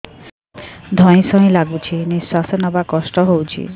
ଧଇଁ ସଇଁ ଲାଗୁଛି ନିଃଶ୍ୱାସ ନବା କଷ୍ଟ ହଉଚି